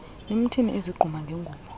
nimthini ezigquma ngengubo